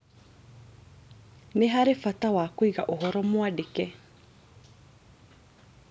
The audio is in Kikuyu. Nĩ harĩ bata wa kũiga ũhoro mwandĩke